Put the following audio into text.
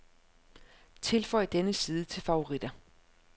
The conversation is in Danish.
Tilføj denne side til favoritter.